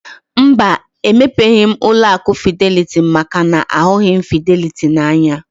Mba, emepeghi m ụlọ akụ fideliti maka na ahụghị m fideliti n'anya